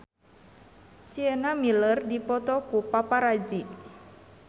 Sienna Miller dipoto ku paparazi